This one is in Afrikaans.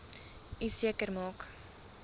u seker maak